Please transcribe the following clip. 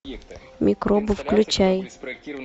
микробы включай